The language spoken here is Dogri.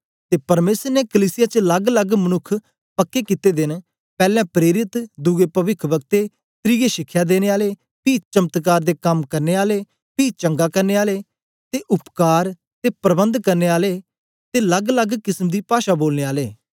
ते परमेसर ने कलीसिया च लगलग मनुक्ख पक्के कित्ते दे न पैलैं प्रेरित दुए पविख्व्क्ते त्रिये शिख्या देने आले पी चमत्कार दे कम करने आले पी चंगा करने आले ते उपकार सेवा ते मदद करने आले ते परबंध करने आले ते लगलग किसम दी पाषा बोलने आले